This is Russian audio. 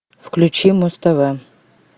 включи муз тв